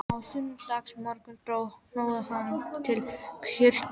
Á sunnudagsmorgnum dró hnoðað hann til kirkju.